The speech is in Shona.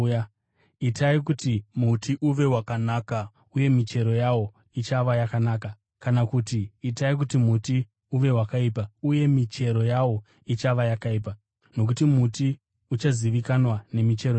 “Itai kuti muti uve wakanaka uye michero yawo ichava yakanaka kana kuti itai kuti muti uve wakaipa, uye michero yawo ichava yakaipa, nokuti muti uchazivikanwa nemichero yawo.